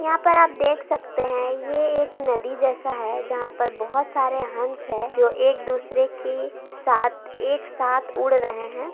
यहाँ पर आप देख सकते हैं ये एक नदी जैसा है जहाँ पर बहुत सारे हंस हैं जो एक दूसरे के साथ एक साथ उड़ रहें हैं।